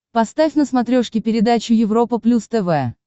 поставь на смотрешке передачу европа плюс тв